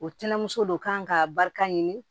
O tɛnɛmuso de kan ka barika ɲini